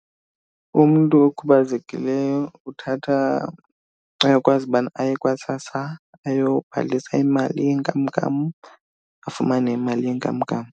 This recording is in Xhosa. Umntu okhubazekileyo uthatha, uyakwazi ubana aye kwaSASSA ayobhalisa imali yenkamnkam afumane imali yenkamnkam.